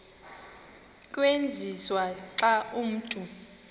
tyenziswa xa umntu